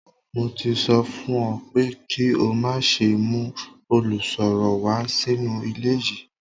Mo ti sọ fún ọ pé kí o má ṣe mú olùsọ̀rọ̀ wá sínú ilé yìí